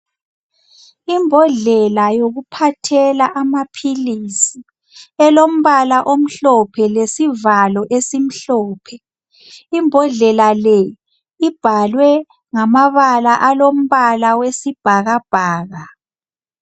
Imbodlela yokuphathela amaphilisi elombala omhlophe lesivalo esimhlophe. Imbodlela le ibhalwe ngamabala alombala wesibhakabhaka.